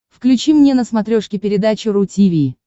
включи мне на смотрешке передачу ру ти ви